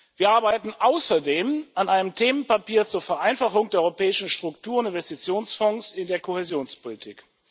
Wir arbeiten außerdem an einem Themenpapier zur Vereinfachung der europäischen Strukturen der Investitionsfonds in der Kohäsionspolitik.